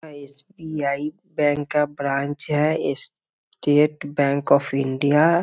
SBI. Bank का branch है State Bank of India.